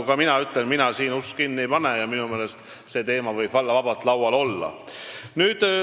Mina ütlen, et mina ust kinni ei pane ja minu meelest võib see teema väga vabalt laual olla.